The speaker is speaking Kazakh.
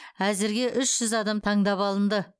әзірге үш жүз адам таңдап алынды